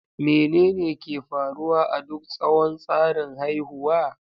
Menene ke faruwa a duk tsawon tsarin haihuwa?